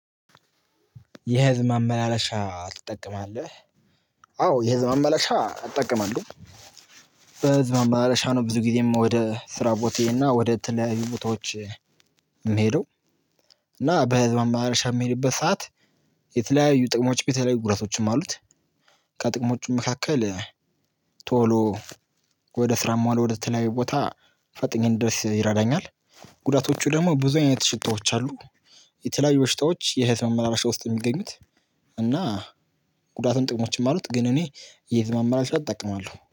የህዝብ ማመላለሻ ትጠቀማለህ? አዎ የህዝብ ማመላለሻ እጠቀማለሁ። በህዝብ ማመላለሻ ነው ብዙ ጊዜም ወደ ስራ ቦታ ና ወደ ተለያዩ ቦታዎች። እና በህዝብ ማመላለሻ በምሄድበት ሰዓት የተለያዩ ጥቅሞች ጉዳቶችም አሉት። ከጥቅሞቹ መካከል ቶሎ ወደ ስራም ሆነ ወደ ተለያዩ ቦታ ፈጥኜ እንድደርስ ይረዳኛል። ጉዳቶቹ ደግሞ ብዙ አይነት ሽታዎች አሉ። የተለያዩ ሽታዎች የህዝብ ማመላሸ ውስጥ የሚገኙት። እና ጉዳትም ጥቅሞችም አሉት ግን እኔ የህዝብ ማመላለሻ እጠቀማለሁ